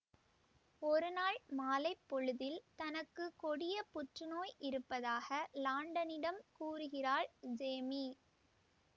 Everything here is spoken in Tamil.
ஒருநாள் மாலை பொழுதில் தனக்கு கொடிய புற்றுநோய் இருப்பதாக லாண்டனிடம் கூறுகிறாள் ஜேமீ